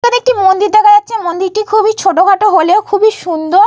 এখানে একটি মন্দির দেখা যাচ্ছে। মন্দিরটি খুবই ছোটোখাটো হলেও খুবই সুন্দর।